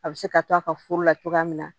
A bɛ se ka to a ka furu la cogoya min na